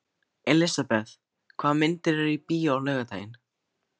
Elisabeth, hvaða myndir eru í bíó á laugardaginn?